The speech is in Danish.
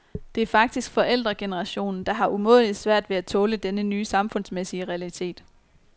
Det er faktisk forældregenerationen, der har umådeligt svært ved at tåle denne nye samfundsmæssige realitet.